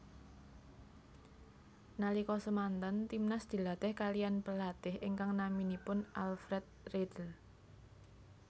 Nalika semanten Timnas dilatih kaliyan pelatih ingkang naminipun Alfred Riedl